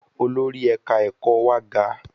Olórí ẹ̀ka ẹ̀kọ́ wa ga.